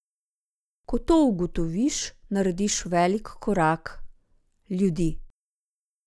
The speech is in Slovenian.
Ko to ugotoviš, narediš velik korak ljudi.